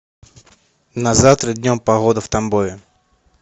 на завтра днем погода в тамбове